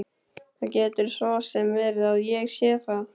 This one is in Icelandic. Það getur svo sem verið að ég sé það.